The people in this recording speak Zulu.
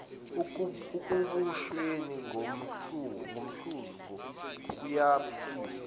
ekubusweni ngondlovu kayiphikiswa